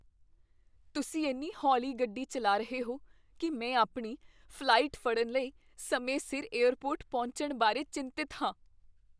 ਤੁਸੀਂ ਇੰਨੀ ਹੌਲੀ ਗੱਡੀ ਚੱਲਾ ਰਹੇ ਹੋ ਕੀ ਮੈਂ ਆਪਣੀ ਫ਼ਲਾਈਟ ਫੜਨ ਲਈ ਸਮੇਂ ਸਿਰ ਏਅਰਪੋਰਟ ਪਹੁੰਚਣ ਬਾਰੇ ਚਿੰਤਤ ਹਾਂ।